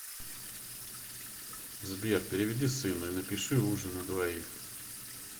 сбер переведи сыну и напиши ужин на двоих